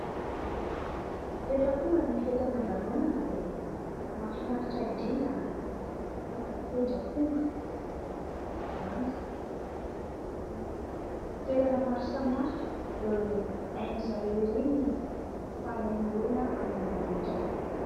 Rehefa tonga ny fety aman-danonana dia mahafinaritra indrindra ny mijery olona mitendry aponga na eny an-kalamanjana izany na eny amin'ny toerana maro samihafa dia hain'izareo ery ny mampifaly ny olona amin'ny alalan'ireny.